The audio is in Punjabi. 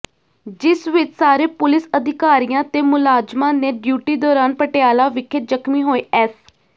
ਜਿਸ ਵਿੱਚ ਸਾਰੇ ਪੁਲਿਸ ਅਧਿਕਾਰੀਆਂ ਤੇ ਮੁਲਾਜ਼ਮਾਂ ਨੇ ਡਿਊਟੀ ਦੌਰਾਨ ਪਟਿਆਲਾ ਵਿਖੇ ਜ਼ਖ਼ਮੀ ਹੋਏ ਐਸ